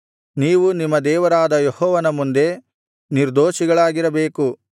ನೀವು ನಿಮ್ಮ ದೇವರಾದ ಯೆಹೋವನ ಮುಂದೆ ನಿರ್ದೊಷಿಗಳಾಗಿರಬೇಕು